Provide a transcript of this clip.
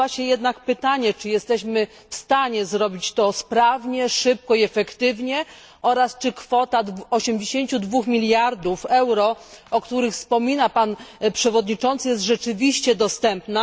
Nasuwa się jednak pytanie, czy jesteśmy w stanie zrobić to sprawnie, szybko i efektywnie oraz czy kwota 82 miliardów euro, o których wspomina przewodniczący, jest rzeczywiście dostępna.